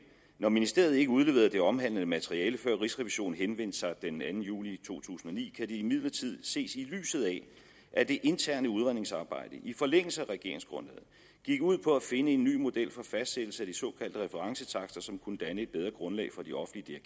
når ministeriet ikke udleverede det omhandlede materiale før rigsrevisionen henvendte sig den anden juli to tusind og ni kan det imidlertid ses i lyset af at det interne udredningsarbejde i forlængelse af regeringsgrundlaget gik ud på at finde en ny model for fastsættelse af de såkaldte referencetakster som kunne danne et bedre grundlag for de offentlige